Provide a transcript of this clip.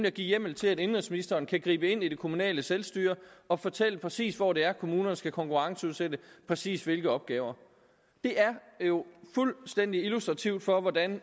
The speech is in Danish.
at give hjemmel til at indenrigsministeren kan gribe ind i det kommunale selvstyre og fortælle præcis hvor det er at kommunerne skal konkurrenceudsætte præcis hvilke opgaver det er jo fuldstændig illustrativt for hvordan